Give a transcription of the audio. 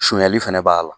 Sunyali fɛnɛ b'a la